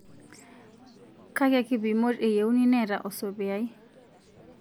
Kakia kipimot eyieuni neeta osopiyai